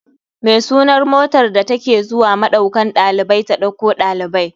Me sunar motar da take zuwa maɗaukan ɗalibai ta ɗauko ɗalibai?